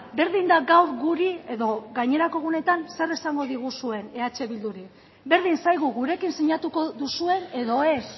berdin da gaur guri edo gainerako egunetan zer esango diguzuen eh bilduri berdin zaigu gurekin sinatuko duzuen edo ez